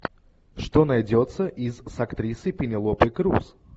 что найдется из с актрисой пенелопой крус